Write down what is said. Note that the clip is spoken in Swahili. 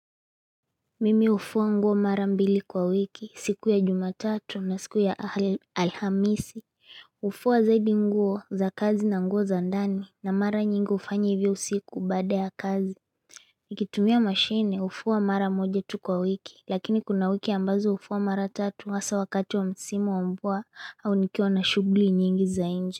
Mimi hufuwa nguo mara mbili kwa wiki, siku ya Jumatatu na siku ya Alhamisi Hufuwa zaidi nguo za kazi na nguo za ndani na mara nyingi hufanya hivyo usiku baada ya kazi Nikitumia mashine hufuwa mara moja tu kwa wiki lakini kuna wiki ambazo hufuwa mara tatu hasa wakati wa msimu wa mvua au nikiwa na shughuli nyingi za inje.